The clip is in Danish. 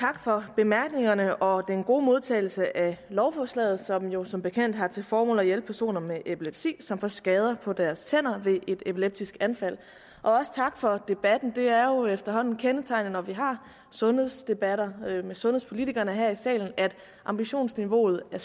tak for bemærkningerne og den gode modtagelse af lovforslaget som jo som bekendt har til formål at hjælpe personer med epilepsi som får skader på deres tænder ved et epileptisk anfald også tak for debatten det er jo efterhånden kendetegnende når vi har sundhedsdebatter med sundhedspolitikerne her i salen at ambitionsniveauet er